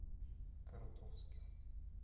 коротовский